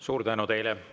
Suur tänu teile!